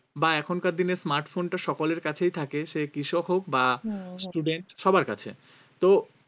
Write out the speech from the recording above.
বা এখনকার দিনে smartphone টা সকলের কাছেই থাকে সে কৃষক হোক বা student সবার কাছে তো